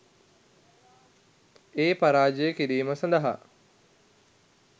ඒ පරාජය කිරීම සදහා